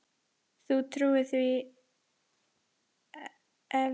Þú trúir því eflaust ekki.